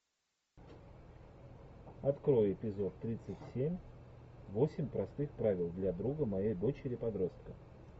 открой эпизод тридцать семь восемь простых правил для друга моей дочери подростка